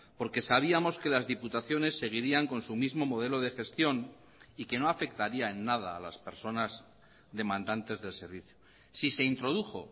porque sabíamos que las diputaciones seguirían con su mismo modelo de gestión y que no afectaría en nada a las personas demandantes del servicio si se introdujo